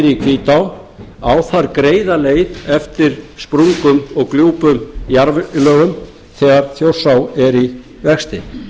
í hvítá á þar greiða leið eftir sprungum og gljúpum jarðlögum þegar þjórsá er í vexti